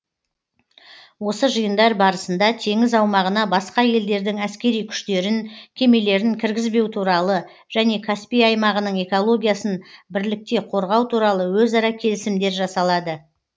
осы жиындар барысында теңіз аумағына басқа елдердің әскери күштерін кемелерін кіргізбеу туралы және каспий аймағының экологиясын бірлікте қорғау туралы өзара келісімдер жасалады